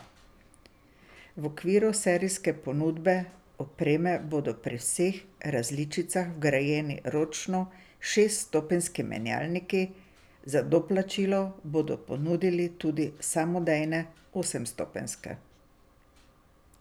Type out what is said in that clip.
V okviru serijske ponudbe opreme bodo pri vseh različicah vgrajeni ročni šeststopenjski menjalniki, za doplačilo bodo ponudili tudi samodejne osemstopenjske.